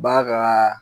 Ba ka